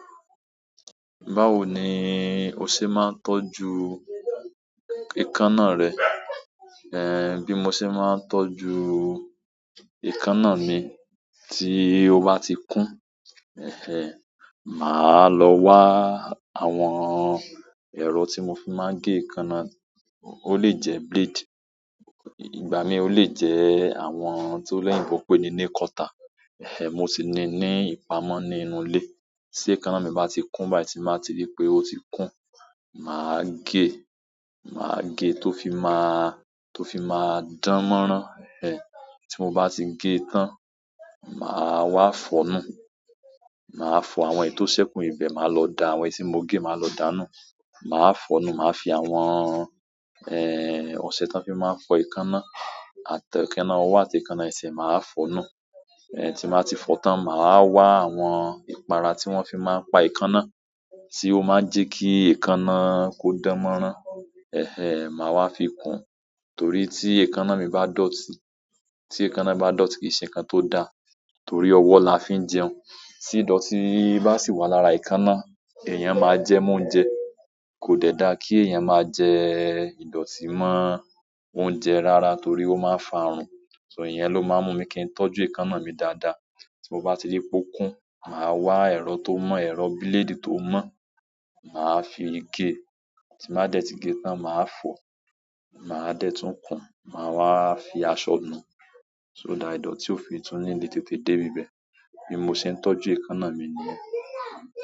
Báwo ni o ṣe máa ń tọ́jú ekáná rẹ? Ehn, bí mo ṣe máa ń tọ́jú ekáná mi, tí ó bá ti kún, eh eh, màá lọ wá àwọn ẹ̀rọ tí mo fi máa ń gé ekáná. Ó lè jẹ blade, ìgbà mí ó lè jẹ àwọn ohun tí oloyìnbó pè ní nail cutter. Eh eh, mo ti ní ní ìpamọ́ ní inú ilé. Tí ekáná mi bá ti kún, bá ti máa ti rí pé ó ti kún, màá gé. Màá gé tó fi máa, tó fi máa dánmọ́rán. Eh, tí mo bá ti gé tán, màá wá fọ̀ọ́ nú. Màá fọ àwọn èyí tó sẹ́kù ibẹ̀. Màá lọ da àwọn ẹyi ti mo gé, màá lọ dáà nú. Màá fọ̀ọ́ nú. Màá fi àwọn, eh, ọṣẹ tán fi máa fọ ekáná. Àti ekáná ọwọ́ àti ekáná ẹsẹ̀, màá fọ̀ọ́ nú. Eh, tí màá ti fọ tán, màá wá àwọn ìpara tí wọ́n fi máa ń pa ekáná. Tí ó máà ń jẹ́ kí ekáná kó dánmọ́rán. Eh eh, màá wá fi kún. Torí tí ekáná mi bá dọ̀tí, tí ekáná bá dọ̀tí, kìí ṣe nǹkan tó dáa. Torí ọwọ́ la fi ń jẹun. Tí ìdọ̀tí bá sì wà lára ìkáná, èèyàn máa jẹ́ mo óúnjẹ. Kò dẹ́da kí èèyàn máa jẹ ìdọ̀tí mọ́ óúnjẹ rara torí ó máa ń fa àrùn. So ìyẹn ló máa ń mú mi kí ń tọ́jú ekáná mi dáadáa. Tí mo bá ti rí pé ó kún, màá wá ẹ̀rọ tó mọ̀, ẹ̀rọ blade tó mọ̀. Màá fi gé. Tí bá dẹ́ ti gé tán, màá fọ̀ò. Màá dẹ́tún kún, màá wá fi aṣọ nú. So that ìdòtí o tí o fi tun níle tètè de b'iibe bí mo ṣe ń tọ́jú ekáná mi nìyẹn.